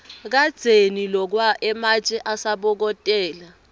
kadzeni lokwa ematje asabokotela